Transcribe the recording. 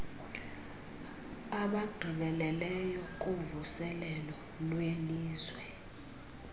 abagqibeleleyo kuvuselelo lwelizwe